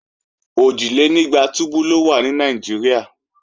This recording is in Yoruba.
Òjìlénígba túbú ló wà ní Nàìjíríà